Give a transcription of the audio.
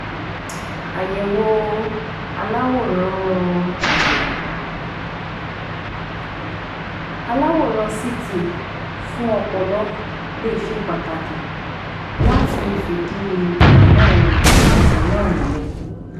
Àyẹ̀wò aláwòrán Àyẹ̀wò aláwòrán CT fún ọpọ̀lọ lẹ̀ ṣe pàtàkì láti lè fìdí ìdámọ̀ àìsàn náà múlẹ̀